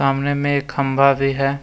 सामने में एक खंभा भी है।